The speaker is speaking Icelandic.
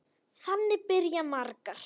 Þannig byrja margar.